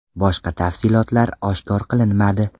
Boshqa tafsilotlar oshkor qilinmadi.